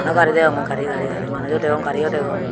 bana gari degongey gari gari gari manujo degong gario degong.